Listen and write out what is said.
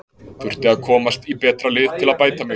Þurfti að komast í betra lið til að bæta mig.